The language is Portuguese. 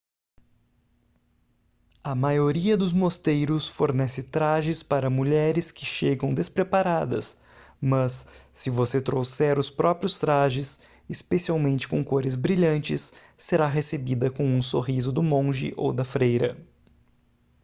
a maioria dos mosteiros fornece trajes para mulheres que chegam despreparadas mas se você trouxer os próprios trajes especialmente com cores brilhantes será recebida com um sorriso do monge ou da freira